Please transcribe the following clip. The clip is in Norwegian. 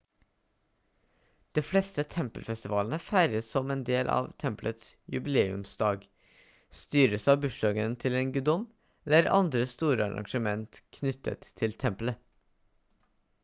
de fleste tempelfestivalene feires som en del av tempelets jubileumsdag styres av bursdagen til en guddom eller andre store arrangement knyttet til tempelet